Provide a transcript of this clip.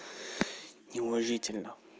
неуважительно